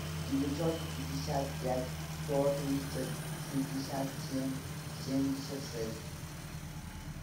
девятьсот пятьдесят пять сто тридцать шестьдесят семь семьдесят шесть